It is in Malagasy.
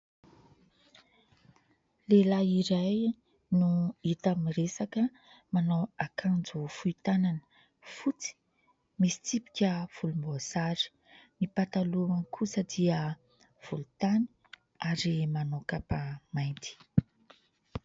Lehilahy iray no hita miresaka, manao akanjo fohy tanana fotsy misy tsipika volomboasary, ny pataloha lavany kosa dia volontany ary manao kapa mainty.